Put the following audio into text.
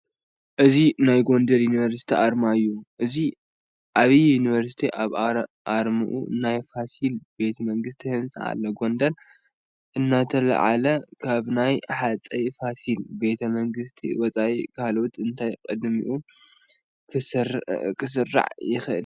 እዚ ናይ ጐንደር ዩኒቨርሲቲ ኣርማ እዩ፡፡ እዚ ዓብዪ ዩኒቨርሲቲ ኣብ ኣርምኡ ናይ ፋሲል ቤተ መንግስቲ ህንፃ ኣሎ፡፡ ጐንደር እንትለዓል ካብ ናይ ሃፀይ ፋሲል ቤተ መንግስቲ ወፃኢ ካልእ እንታይ ቅድሚት ክስራዕ ይኽእል?